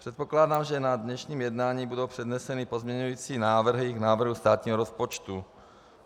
Předpokládám, že na dnešním jednání budou předneseny pozměňující návrhy k návrhu státního rozpočtu.